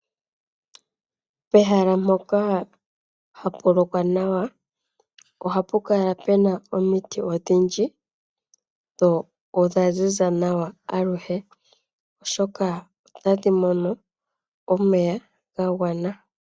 Pehala mpoka hapu lokwa nawa ohapu kala puna omiti odhindji dho dha ziza nawa aluhe oshoka otadhi mono omeya ga gwana.